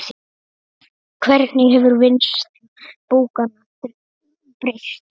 Hvernig hefur vinnsla bókanna breyst?